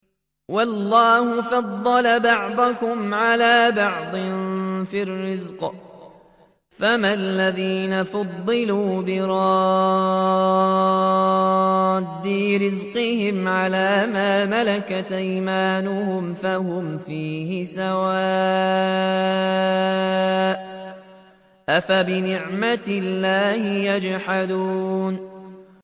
وَاللَّهُ فَضَّلَ بَعْضَكُمْ عَلَىٰ بَعْضٍ فِي الرِّزْقِ ۚ فَمَا الَّذِينَ فُضِّلُوا بِرَادِّي رِزْقِهِمْ عَلَىٰ مَا مَلَكَتْ أَيْمَانُهُمْ فَهُمْ فِيهِ سَوَاءٌ ۚ أَفَبِنِعْمَةِ اللَّهِ يَجْحَدُونَ